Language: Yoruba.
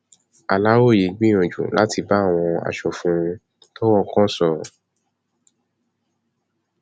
aláròye gbìyànjú láti bá àwọn aṣòfin tọrọ kan sọrọ